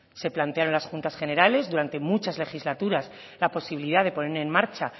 se plantearon en las juntas generales durante muchas legislaturas la posibilidad de poner en marcha